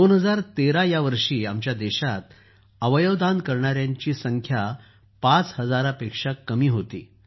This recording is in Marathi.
२०१३ या वर्षी आमच्या देशात अवयव दानाच्या ५ हजारापेक्षाही कमी प्रकरणे होती